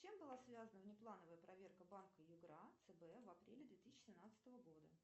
с чем была связана внеплановая проверка банка югра цб в апреле две тысячи семнадцатого года